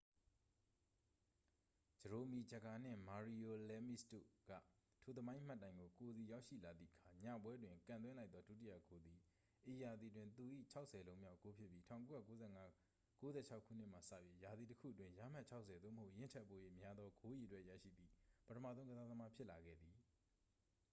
ဂျရိုမီ ဂျဂါ နှင့် မာရီယို လဲမီစ်တို့က ထိုသမိုင်းမှတ်တိုင်ကို ကိုယ်စီရောက်ရှိလာသည့်အခါ ညပွဲတွင် ကန်သွင်းလိုက်သော ဒုတိယဂိုးသည် ဤရာသီတွင် သူ၏ 60 လုံးမြောက် ဂိုးဖြစ်ပြီး 1995 - 96 ခုနှစ်မှစ၍ ရာသီတစ်ခုအတွင်း ရမှတ် 60 သို့မဟုတ် ယင်းထက်ပို၍ များသော ဂိုးအရေအတွက် ရရှိသည့် ပထမဆုံး ကစားသမား ဖြစ်လာခဲ့သည်